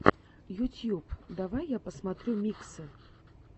ютьюб давай я посмотрю миксы